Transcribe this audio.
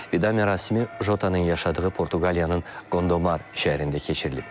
Vida mərasimi Jota-nın yaşadığı Portuqaliyanın Gondomar şəhərində keçirilib.